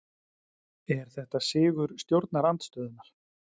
Er þetta sigur stjórnarandstöðunnar?